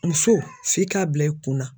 Muso f'i k'a bila i kunna.